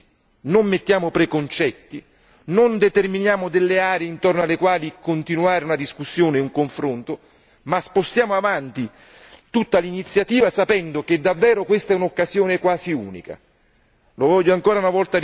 Non mettiamo pregiudizi, non mettiamo preconcetti, non determiniamo delle aree intorno alle quali continuare una discussione, un confronto, ma spostiamo in avanti tutta l'iniziativa sapendo che davvero questa è un'occasione quasi unica.